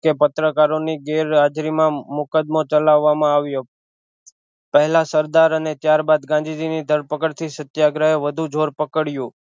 કે પત્રકારો ની ગેરહાજરી માં મુકદમો ચલાવામાં આવ્યો પેહલા સરદાર અને ત્યારબાદ ગાંધીજી ની ધરપકડ થી સત્યગ્રહે વધુ જોર પકડયું